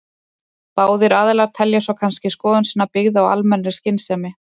Báðir aðilar telja svo kannski skoðun sína byggða á almennri skynsemi.